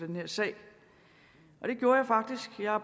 den her sag og det gjorde jeg faktisk jeg har